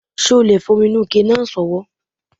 Ṣé o le fi omi inú ike náà sọwọ́